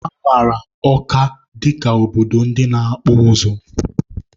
A mara Ọka dịka obodo ndị na-akpụ ụzụ.